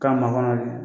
K'a makɔnɔ de